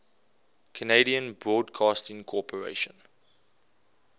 canadian broadcasting corporation